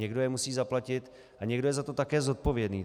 Někdo je musí zaplatit a někdo je za to také zodpovědný.